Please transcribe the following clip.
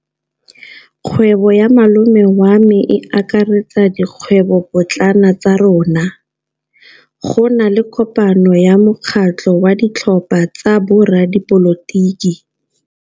Kgwêbô ya malome wa me e akaretsa dikgwêbôpotlana tsa rona. Go na le kopanô ya mokgatlhô wa ditlhopha tsa boradipolotiki.